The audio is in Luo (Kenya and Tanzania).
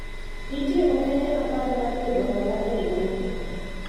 nitie okenge apar mar yudo hola e riwruogno